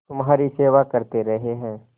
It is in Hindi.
तुम्हारी सेवा करते रहे हैं